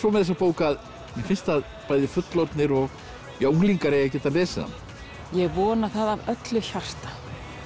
með þessa bók að mér finnst að bæði fullorðnir og unglingar eigi að geta lesið hana ég vona það af öllu hjarta